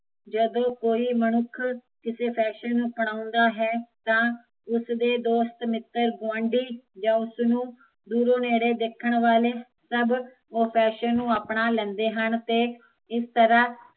ਜਦੋਂ ਕੋਈ ਮਨੁੱਖ ਕਿਸੇ ਫੈਸ਼ਨ ਨੂੰ ਅਪਣਾਉਂਦਾ ਹੈ ਤਾਂ ਉਸਦੇ ਦੋਸਤ ਮਿੱਤਰ, ਗੁਆਡੀ ਯਾ ਉਸਨੂੰ ਦੂਰੋਂ ਨੇੜੇ ਦੇਖਣ ਵਾਲੇ, ਸਭ ਉਹ ਫੈਸ਼ਨ ਨੂੰ ਅਪਣਾ ਲੈਂਦੇ ਹਨ ਤੇ ਇਸ ਤਰਾਂ ਹਰ